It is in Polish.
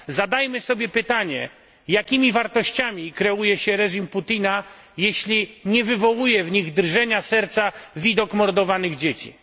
Zadajmy sobie pytanie, jakimi wartościami kieruje się reżim Putina, jeśli nie wywołuje w nich drżenia serca widok mordowanych dzieci?